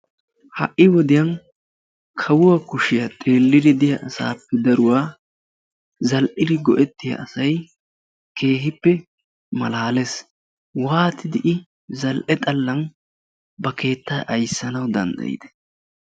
ha'i wodiyaa kawuwaa kushiyaa xeellidi diyaa asappe daruwaa zal''idi diyaa asay keehippe malaalees waattidi I za''ee xallan ba keettaa ayssana danddayyide?